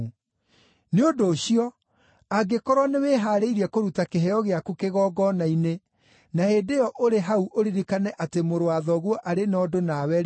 “Nĩ ũndũ ũcio, angĩkorwo nĩwĩhaarĩirie kũruta kĩheo gĩaku kĩgongona-inĩ, na hĩndĩ ĩyo ũrĩ hau ũririkane atĩ mũrũ wa thoguo arĩ na ũndũ nawe-rĩ,